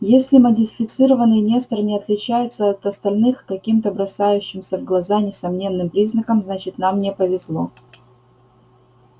если модифицированный нестор не отличается от остальных каким-то бросающимся в глаза несомненным признаком значит нам не повезло